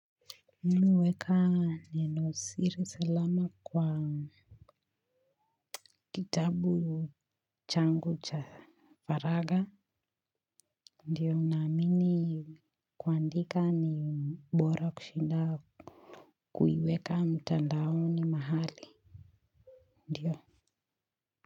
Mimi huweka neno siri salama kwa kitabu changu cha faraga. Ndiyo unamini kuandika ni mbora kushinda kuiweka mtandaoni mahali. Ndiyo.